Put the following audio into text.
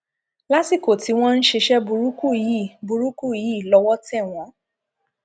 lásìkò tí wọn ń ṣiṣẹ burúkú yìí burúkú yìí lọwọ tẹ wọn